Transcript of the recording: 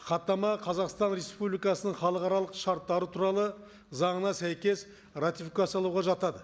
хаттама қазақстан республикасының халықаралық шарттары туралы заңына сәйкес ратификациялауға жатады